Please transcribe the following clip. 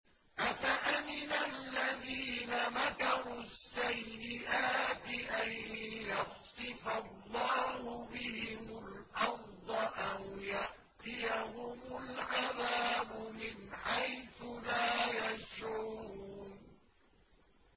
أَفَأَمِنَ الَّذِينَ مَكَرُوا السَّيِّئَاتِ أَن يَخْسِفَ اللَّهُ بِهِمُ الْأَرْضَ أَوْ يَأْتِيَهُمُ الْعَذَابُ مِنْ حَيْثُ لَا يَشْعُرُونَ